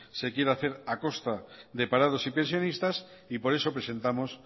se quiera hacer a costa de parados y pensionistas por eso presentamos